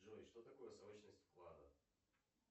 джой что такое срочность вклада